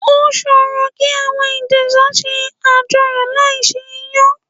Ó ṣòro kí àwọn Ìjẹ̀sà ṣe àjọyọ̀ láì se Iyán.